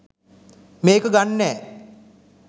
මේක ගන්නෑ